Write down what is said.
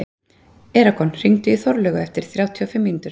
Eragon, hringdu í Þorlaugu eftir þrjátíu og fimm mínútur.